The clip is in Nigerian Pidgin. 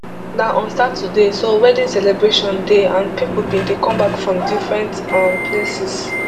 na on saturday so wedding celebration dey and pipo bin dey come back from different um places